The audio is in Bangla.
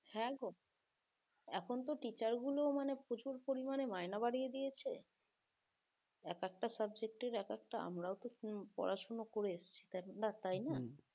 হ্যাঁ গো এখনতো teacher গুলো প্রচুর পরিমানে মাইনা বাড়িয়ে দিয়েছে এক একটা subject এর এক একটা আমরাও তো পড়াশোনা করে এসছি তাই